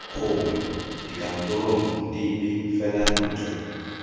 gongwe dikantorong dipe fela ntle